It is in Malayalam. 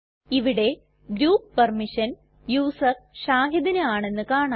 ഇവിടെ ഗ്രൂപ്പ് പെർമിഷൻ യൂസർ shahidന് ആണെന്ന് കാണാം